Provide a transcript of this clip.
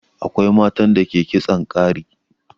Akwai matan da ke kitson ƙari.